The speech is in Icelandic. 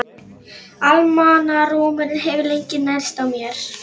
Almannarómurinn hefur lengi nærst á mér.